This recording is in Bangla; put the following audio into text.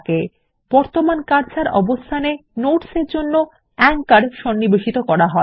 টিকার আঁচোর বর্তমান কার্সর অবস্থান এ যোগ করা হয়